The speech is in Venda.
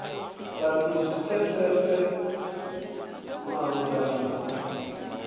vha si zwi pfesese malugana